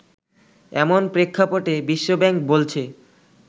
এমন প্রেক্ষাপটে বিশ্বব্যাংক বলছে